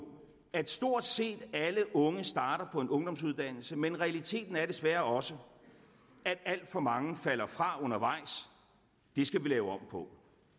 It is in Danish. at stort set alle unge starter på en ungdomsuddannelse men realiteten er desværre også at alt for mange falder fra undervejs det skal vi lave om på